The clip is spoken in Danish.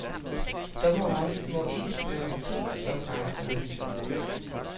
Dommeren må ikke spørge om ting som race og religion.